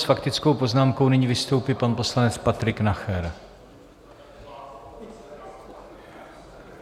S faktickou poznámkou nyní vystoupí pan poslanec Patrik Nacher.